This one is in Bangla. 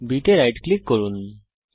বস্তু b এ রাইট ক্লিক করুন